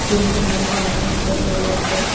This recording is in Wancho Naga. khidki hak gahak am chu lot nganley kue.